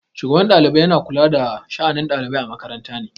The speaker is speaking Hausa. Shugaban ɗalibai yana kula da sha'anin ɗalibai a makaranta ne.